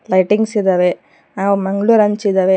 Lightings ಇದಾವೆ ಹಾಗು ಮಂಗಳೂರ್ ಹಂಚ ಇದಾವೆ.